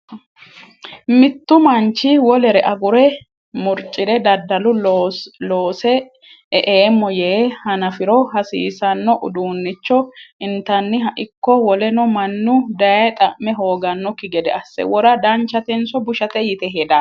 Mittu manchi wolere agure murcire daddalu loose e"eemmo yee hanafiro hasiisano uduniicho intanniha ikko woleno mannu dayee xa'me hooganokki gede asse wora danchatenso Bushate yite hedaa?